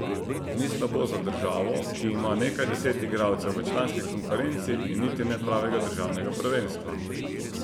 Ni slabo za državo, ki ima nekaj deset igralcev v članski konkurenci in niti ne pravega državnega prvenstva.